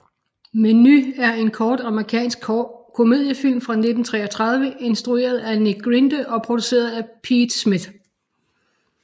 Menu er en kort amerikansk komediefilm fra 1933 instrueret af Nick Grinde og produceret af Pete Smith